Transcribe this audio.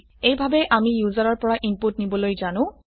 এইভাবে আমি ইউজাৰৰ পৰা ইনপুট নিবলৈ জানো